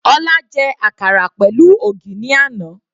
Ọlá jẹ àkàrà pẹ̀lú ògì ní àná.